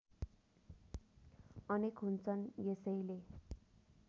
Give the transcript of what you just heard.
अनेक हुन्छन् यसैले